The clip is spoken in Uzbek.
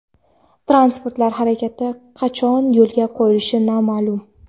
Transportlar harakati qachon yo‘lga qo‘yilishi noma’lum.